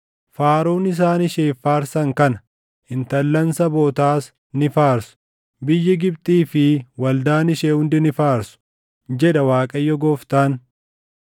“Faaruun isaan isheef faarsan kana. Intallan sabootaas ni faarsu; biyyi Gibxii fi waldaan ishee hundi ni faarsu, jedha Waaqayyo Gooftaan.”